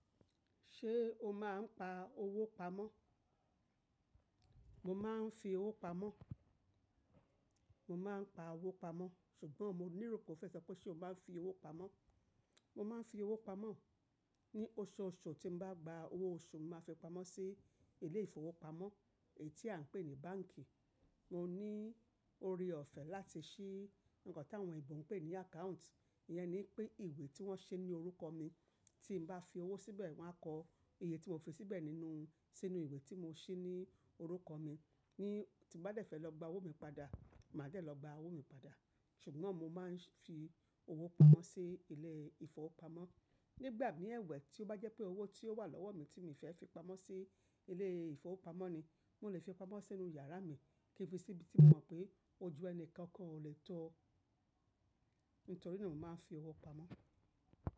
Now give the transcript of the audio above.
Ṣé o máa ń pa owó pamọ́? Mo máa ń fi owó pamọ́. Mo máa ń pa owó pamọ́ ṣùgbọ́n mo lero pe o fẹ́ sọ pé ṣe o maa n fi owó pamọ́? Mo máa ń fi owó pamọ́. Ni oṣooṣù tí n bá gba owó oṣù, màá fi pamọ́ sí ilé ìfowópamọ́, èyí tí a ń pè ní báǹkì. Mo ní ore ọ̀fẹ́ láti ṣí nǹkan tí àwọn ìbò ń pè ní account. Iyẹn ni pé ìwé tí wọ́n ṣe ní orúkọ mi. Tí n bá fi owó síbẹ̀, wọ́n á kọ iye tí mo fi síbẹ̀ nínú, sínú ìwé tí mo ṣí ní orúkọ mi. Ni tí mo bá dẹ́fẹ̀ lọ gba owó mi padà, màá dẹ̀ lọ gba owó mi padà. Ṣùgbọ́n mo máa ń fi owó pamọ́ sí ilé ìfowópamọ́. Nígbà mi ẹ̀wẹ̀ tí ó bá jẹ́ pé owó tí ó wà lọ́wọ́ mi tí mi fẹ́ fi pamọ́ sí ilé ìfowópamọ́ ni, mo lè fi pamọ́ sínú yàrá mi kìn fi sí ibi tí mo mọ̀ pé ojú ẹni kankan ò lè tọ. Nítorí náà mo máa ń fi owó pamọ́.